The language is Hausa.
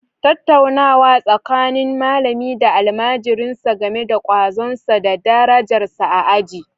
Tattaunawa tsakanin malami da almajirinsa game da kwazonsa da darajarsa a aji